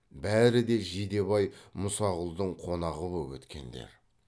бәрі де жидебай мұсақұлдың қонағы боп өткендер